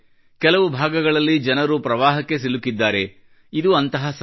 ಕೆಲವು ಭಾಗಗಳಲ್ಲಿ ಜನರು ಪ್ರವಾಹಕ್ಕೆ ಸಿಲುಕಿದ್ದಾರೆ ಇದು ಅಂತಹ ಸಮಯ